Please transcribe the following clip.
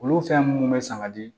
Olu fɛn munnu be sanga di